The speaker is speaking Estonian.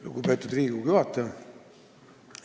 Lugupeetud Riigikogu juhataja!